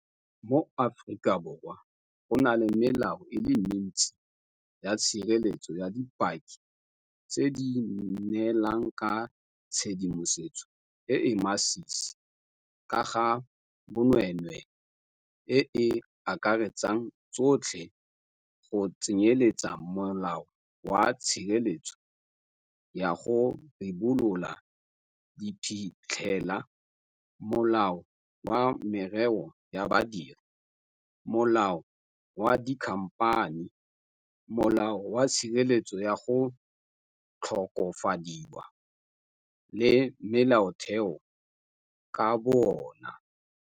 Mo Aforika Borwa go na le melao e le mentsi ya tshireletso ya dipaki tse di neelang ka tshedimosetso e e masisi ka ga bonweenwee e e akaretsang tsotlhe, go tsenyeletsa Molao wa Tshireletso ya go Ribolola Diphitlhela, Molao wa Merero ya Badiri, Molao wa Dikhamphani, Molao wa Tshireletso ya go Tlhokofadiwa, le Molaotheo ka bo ona.